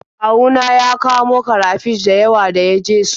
Kawu na ya kamo karafish da yawa da ya je su.